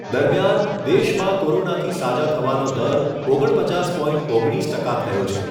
દરમિયાન દેશમાં કોરોનાથી સાજા થવાનો દર ઓગણ પચાસ પોઇન્ટ ઓગણીસ ટકા થયો છે.